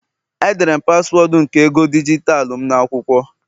Edere m paswọọdụ nke ego dijitalụ m n'akwụkwọ